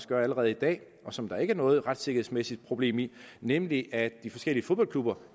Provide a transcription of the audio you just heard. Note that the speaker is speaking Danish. gør i dag og som der ikke er noget retssikkerhedsmæssigt problem i nemlig at de forskellige fodboldklubber